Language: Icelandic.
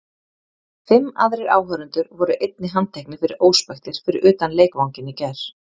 Fimm aðrir áhorfendur voru einnig handteknir fyrir óspektir fyrir utan leikvanginn í gær.